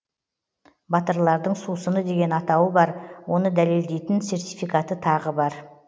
батырлардың сусыны деген атауы бар оны дәлелдейтін сертификаты тағы бар